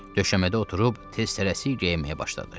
Döşəmədə oturub tez-tələsik geyinməyə başladı.